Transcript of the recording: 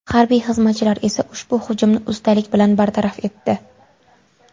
Harbiy xizmatchilar esa ushbu hujumni ustalik bilan bartaraf etdi.